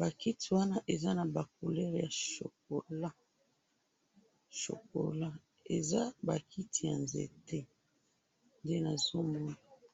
bakiti wana eza na couleur ya chocolat, eza bakiti yanzete nde nazomona